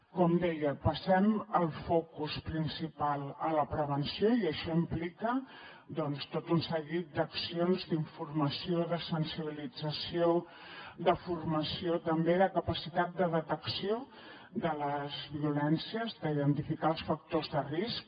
com deia passem el focus principal a la prevenció i això implica doncs tot un seguit d’accions d’informació de sensibilització de formació també de capacitat de detecció de les violències d’identificar els factors de risc